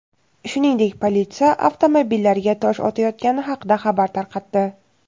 shuningdek politsiya avtomobillariga tosh otayotgani haqida xabar tarqatdi.